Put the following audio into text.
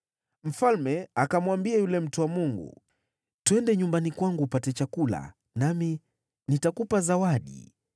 Mfalme akamwambia yule mtu wa Mungu, “Twende nyumbani kwangu upate chakula, nami nitakupa zawadi.”